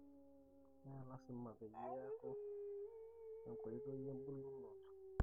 Melasima piaku enkoitoi ebuluoto.